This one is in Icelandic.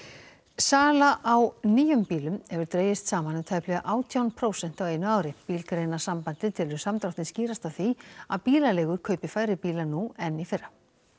sala á nýjum bílum hefur dregist saman um tæplega átján prósent á einu ári Bílgreinasambandið telur samdráttinn skýrast af því að bílaleigur kaupi færri bíla nú en í fyrra